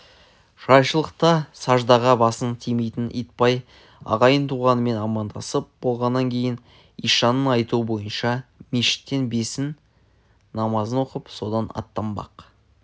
жайшылықта саждаға басы тимейтін итбай ағайын-туғанымен амандасып болғаннан кейін ишанның айтуы бойынша мешіттен бесін намазын оқып содан аттанбақ